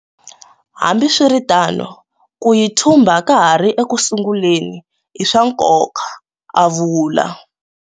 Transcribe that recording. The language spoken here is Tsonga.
Hambiswiri tano, ku yi thumba ka ha ri ekusunguleni i swa nkoka, a vula.